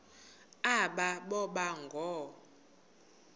aba boba ngoo